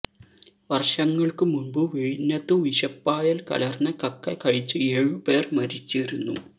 വർഷങ്ങൾക്കു മുൻപു വിഴിഞ്ഞത്തു വിഷപ്പായൽ കലർന്ന കക്ക കഴിച്ച് ഏഴു പേർ മരിച്ചിരുന്നു